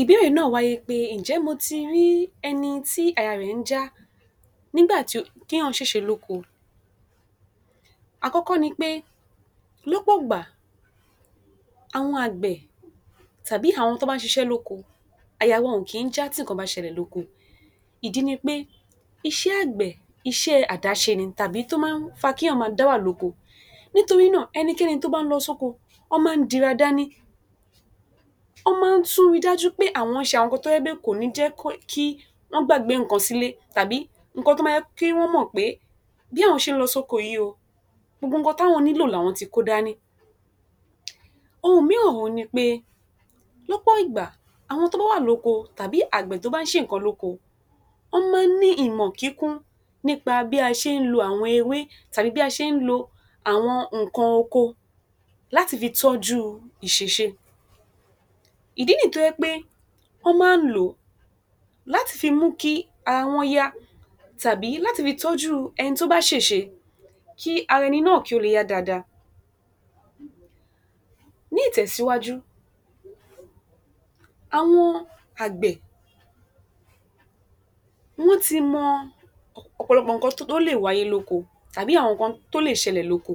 Ìbéèrè náà wáyé pé ǹjẹ́ mo ti rí ẹni tí àyà rẹ̀ ń já nígbà tí ó, téèyàn ṣèṣe lóko. Àkọ́kọ́ ni pé lọ́pọ̀ ìgbà àwọn àgbẹ̀ tàbí àwọn tán bá ń ṣiṣẹ́ lóko àyà wọn ò kì í já tí nǹkan bá ṣẹlẹ̀ lóko, ìdí ni pé iṣẹ́ àgbẹ̀, iṣẹ́ àdáṣe ni tàbí tó máa ń fa kíyàn máa dá wà lóko. Nítorí náà, ẹnikẹ́ni tó bá ń lọ sóko wọ́n máa ń dira dání, wọ́n máa ń tún ríi dájú pé àwọn ṣe àwọn nǹkan tó jẹ́ pé kò ní jẹ́ kó, kí wọ́n gbàgbé nǹkan sílé tàbí nǹkan tó ma jẹ́ kí wọ́n mọ̀ pé bí àwọn ṣe ń lọ sóko yìí o gbogbo nǹkan táwọn nílò làwọn ti kó dání. Ohun mìíràn òhun ni pé lọ́pọ̀ ìgbà àwọn tán bá wà lóko tàbí àgbẹ̀ tó bá ń ṣe nǹkan lóko wọ́n máa ń ní ìmọ̀ kíkún nípa bí a ṣe ń lo àwọn ewé tàbí bí a ṣe ń lo àwọn nǹkan oko láti fi tọ́jú ìṣẹ̀ṣe. Ìdí nìyí tó jẹ́ pé wọ́n máa ń lò ó láti fi mú kí ara wọn yá tàbí láti fi tọ́jú ẹni tó bá ṣèṣe kí ara ẹni náà kí ara ẹni náà kí ó le yá dáadáa. Ní ìtẹ̀síwájú, àwọn àgbẹ̀ wọ́n ti mọ ọ̀pọ̀lọpọ̀ nǹkan tó lè wáyé lóko tàbí àwọn nǹkan tó lè ṣẹlẹ̀ lóko.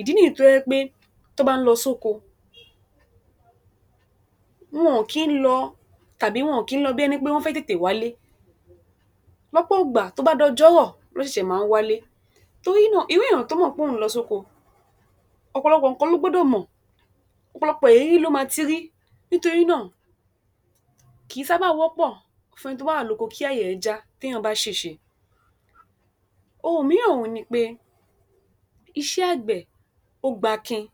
Ìdí nìyí tó jẹ́ pé tán bá ń lọ sóko, wọ́n kín lọ tàbí wọn kín lọ bí ẹni pé wọ́n fẹ́ tètè wálé. Lọ́pọ̀ ìgbà tó bá dọjọ́ rọ̀ ná ṣẹ̀ṣẹ̀ máa ń wálé. Torí náà, irú èèyàn tó mọ̀ póun ń lọ sóko, ọ̀pọ̀lọpọ̀ nǹkan ló gbọ́dọ̀ mọ̀, ọ̀pọ̀lọpọ̀ ìrírí ló ma ti rí, nítorí náà kì í sáábà wọ́pọ̀ fún ẹni tó bá wà lóko kí àyà rẹ̀ já téèyàn bá ṣèṣe. Ohun mìíràn òhun ni pé, iṣẹ́ àgbẹ̀, ó gbakin,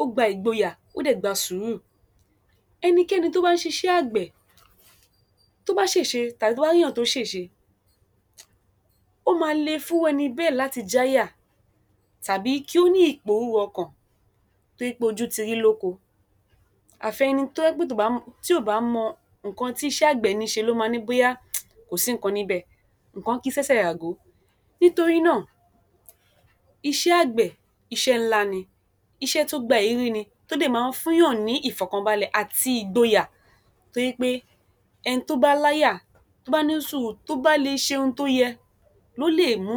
ó gba ìgboyà, ó dẹ̀ gba sùúrù. Ẹnikẹ́ni tó bá ń ṣiṣẹ́ àgbẹ̀ tó bá ṣèṣe tàbí tó bá ríyàn tó ṣèṣe ó ma le fún irú ẹni bẹ́ẹ̀ láti jáyà tàbí kí ó ní ìpòrúru ọkàn torí pé ojú ti rí lóko. Àfi ẹni tó jẹ́ pé tí ò bá mọ, tí ò bá mọ nǹkan tíṣẹ́ àgbẹ̀ níṣe ló ma ní bóyá kò sí nǹkan níbẹ̀, nǹkan ki sẹ́sẹ̀ ràgó. Nítorí náà, iṣẹ́ àgbẹ̀ iṣẹ́ ńlá ni, iṣẹ́ tó gba ìrírí ni tó dẹ̀ máa ń fúnyàn ní Ìfọ̀kànbalẹ̀ àti ìgboyà tó jẹ́ pé ẹni tó bá láyà, tó bá ní sùúrù tó bá le ṣe n tó yẹ ló lè mú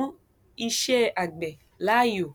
iṣẹ́ àgbẹ̀ láàyò.